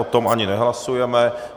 O tom ani nehlasujeme.